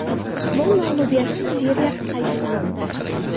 Usmon mag‘lubiyatsiz seriya qayd etmoqda.